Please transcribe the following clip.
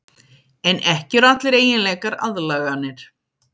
En ekki eru allir eiginleikar aðlaganir.